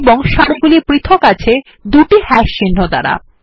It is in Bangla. এবং সারিগুলি পৃথক আছে দুটি হাশ চিহ্ন দ্বারা